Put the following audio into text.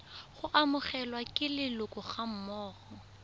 go amogelwa ke leloko gammogo